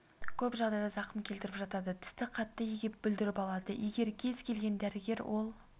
көп жағдайда зақым келтіріп жатады тісті қатты егеп бүлдіріп алады егер кез келген дәрігер ол